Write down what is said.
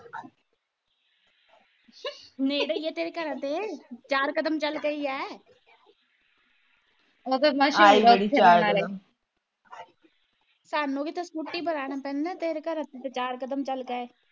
ਨੇੜੇ ਈਆ ਤੇਰੇ ਘਰਾਂ ਦੇ ਚਾਰ ਕਦਮ ਚਲ ਕੇ ਈਆ ਤੁਹਾਨੂੰ ਵੀ ਤਾ ਸਕੂਟੀ ਪਰ ਆਣਾ ਪੈਂਦਾ ਤੇਰੇ ਘਰੋਂ ਤਾ ਚਾਰ ਕਦਮ ਚਲ ਕੇ ਏ